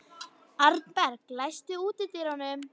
Arnberg, læstu útidyrunum.